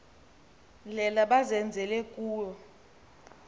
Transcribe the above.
ndlela bazenzele kuwo